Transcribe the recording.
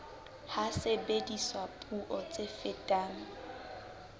ha sebediswa puo tse fetang